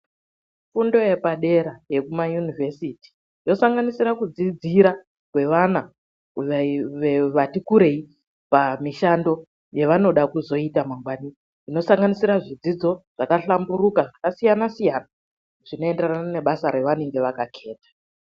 FUNDO YEPADERA YEKUMA UNIVESITI YOSANGANISIRA KUDZIDZIRA YEVANA VATI KUREI PAMISHANDO YAVANODA KUZOITA MANGWANI INOSANGANISIRA ZVIDZIDZO ZVAKA HLAMBURUKA ZVINOENDERANA NEBASA RAVANENGE VAKAKETA